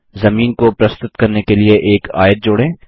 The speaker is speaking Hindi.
जमीन को प्रस्तुत करने के लिए एक आयत जोड़ें